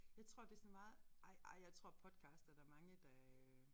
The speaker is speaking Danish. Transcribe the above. Jeg tror det sådan meget ej ej jeg tror podcast er der mange der øh